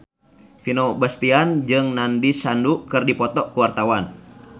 Vino Bastian jeung Nandish Sandhu keur dipoto ku wartawan